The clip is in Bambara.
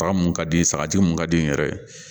Baga mun ka di ye sagaji mun ka di n yɛrɛ ye